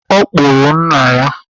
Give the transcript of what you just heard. Ọ kpụrụ nna ya.